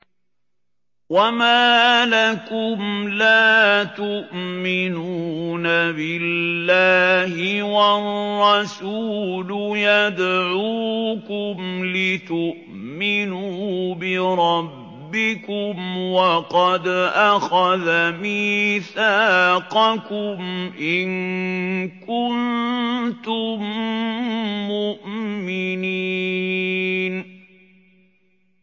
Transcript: وَمَا لَكُمْ لَا تُؤْمِنُونَ بِاللَّهِ ۙ وَالرَّسُولُ يَدْعُوكُمْ لِتُؤْمِنُوا بِرَبِّكُمْ وَقَدْ أَخَذَ مِيثَاقَكُمْ إِن كُنتُم مُّؤْمِنِينَ